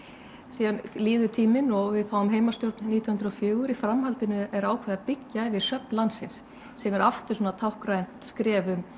síðan líður tíminn og við fáum heimastjórn nítján hundruð og fjögur í framhaldinu er ákveðið að byggja yfir söfn landsins sem er aftur svona táknrænt skref